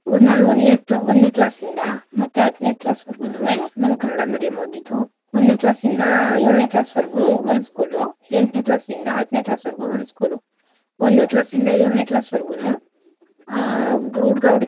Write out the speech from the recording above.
ನಾನು ಒಂದನೇ ಕ್ಲಾ ಒಂದನೇ class ಯಿಂದ ಮತ್ತೇ ಹತ್ನೇ class ವರ್ಗೂನುವೆ ಕನ್ನಡ medium ಓದಿದ್ದು ಒಂದನೇ class ಇಂದ ಯೊಳನೇ class ವರ್ಗೂ ಒಂದು school ಉ ಎಂಟನೇ class ಇಂದ ಹತ್ನೇ class ವರ್ಗೂ ಒಂದು school ಉ ಒಂದನೇ class ಇಂದ ಏಳನೇ class ವರ್ಗೂನುವೆ ಆಹ್ ಹುಡ್ಗ ಹುಡ್ಗಿ.